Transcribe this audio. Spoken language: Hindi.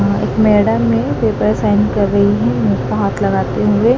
एक मैडम ने पेपर साइन कर रही है हाथ लगाते हुए।